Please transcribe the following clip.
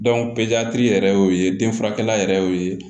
yɛrɛ y'o ye den furakɛla yɛrɛ y'o ye